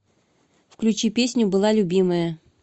включи песню была любимая